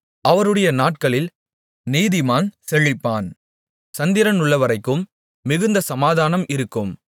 அவருடைய நாட்களில் நீதிமான் செழிப்பான் சந்திரனுள்ளவரைக்கும் மிகுந்த சமாதானம் இருக்கும்